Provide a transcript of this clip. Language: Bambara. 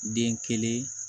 Den kelen